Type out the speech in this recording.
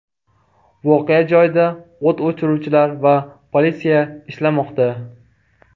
Voqea joyida o‘t o‘chiruvchilar va politsiya ishlamoqda.